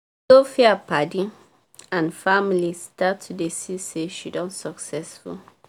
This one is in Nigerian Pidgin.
sophia padi and family start to dey see say she don successful